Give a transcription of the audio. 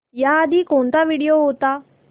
याआधी कोणता व्हिडिओ होता